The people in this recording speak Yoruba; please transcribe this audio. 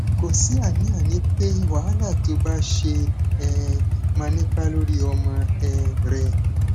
kò sí àníàní pé wàhálà tó o bá ṣe um máa nípa lórí ọmọ um rẹ